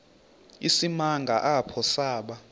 isimanga apho saba